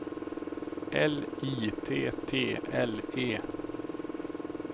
L I T T L E